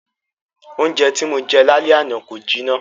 Oúnjẹ tí Mo jẹ l'álẹ́ àná kò jiná.